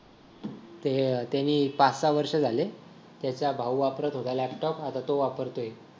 ते अह त्यांनी पाच-सहा वर्षे झाले त्याचा भाऊ वापरत होता लॅपटॉप आता तो वापरतो